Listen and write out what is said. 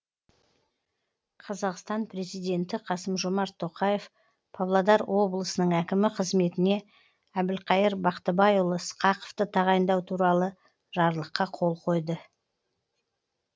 қазақстан президенті қасым жомарт тоқеав павлодар облысының әкімі қызметіне әбілқайыр бақтыбайұлы сқақовты тағайындау туралы жарлыққа қол қойды